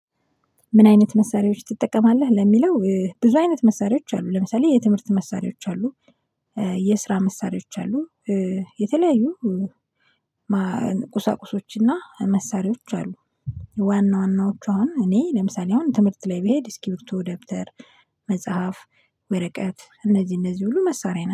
ምን አይነት መሳሪያዎች ትጠቀማለህ? ለሚለው ብዙ አይነት መሳሪያዎች አሉ ለምሳሌ የትምህርት መሳሪያዎች አሉ። የስራ መሳሪያዎች አሉ። የተለያዩ ቁሳቁሶችና መሳሪያዎች አሉ። ዋና ዋናዎች አሁን እኔ ለምሳሌ አሁን ትምህርት ላይ በሄድ ስኪርብቶ ደብተር መጽሐፍ ወረቀት እነዚህ እነዚህ ሁሉ መሳሪያ